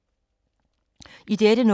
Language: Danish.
I dette nummer